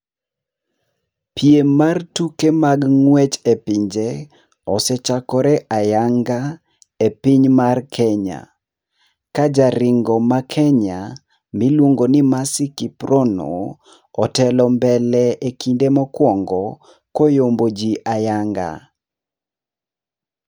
Piem mar tuke mag ng'wech epinje osee chakore ayanga epiny mar Kenya. Kajaringo ma Kenya miluongo ni Mercy Kiprono otelo mbele ekinde mokuongo koyombo ji ayanga.